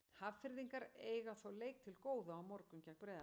Hafnfirðingar eiga þó leik til góða á morgun gegn Breiðablik.